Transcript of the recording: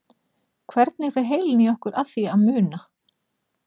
Hvernig fer heilinn í okkur að því að muna?